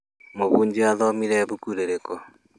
Mũhunjia athomire ibuku rĩrĩkũ